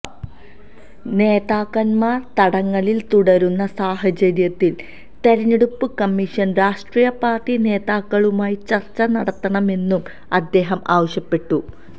നേതാക്കന്മാര് തടങ്കലില് തുടരുന്ന സാഹചര്യത്തില് തെരഞ്ഞെടുപ്പ് കമ്മീഷന് രാഷ്ട്രീയ പാര്ട്ടി നേതാക്കളുമായി ചര്ച്ച നടത്തണമെന്നും അദ്ദേഹം ആവശ്യപ്പെട്ടു